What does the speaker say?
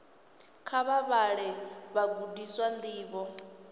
kha vha vhalele vhagudiswa ndivho